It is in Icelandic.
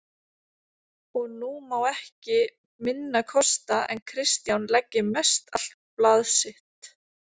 Og nú má ekki minna kosta en Kristján leggi mestallt blað sitt